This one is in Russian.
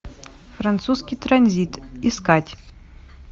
французский транзит искать